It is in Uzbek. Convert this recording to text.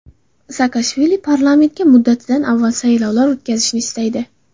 Saakashvili parlamentga muddatidan avval saylovlar o‘tkazilishini istaydi.